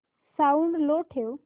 sound low ठेव